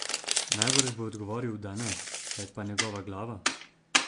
Najbrž bo odgovoril da ne, kaj pa njegova glava?